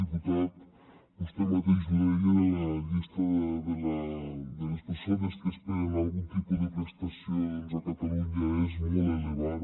diputat vostè mateix ho deia la llista de les persones que esperen algun tipus de prestació doncs a catalunya és molt elevada